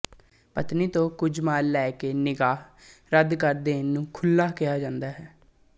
ਪਤਨੀ ਤੋਂ ਕੁਝ ਮਾਲ ਲੈ ਕੇ ਨਿਕਾਹ ਰੱਦ ਕਰ ਦੇਣ ਨੂੰ ਖ਼ੁਲਾ ਕਿਹਾ ਜਾਂਦਾ ਹੈ